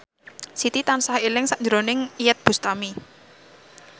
Siti tansah eling sakjroning Iyeth Bustami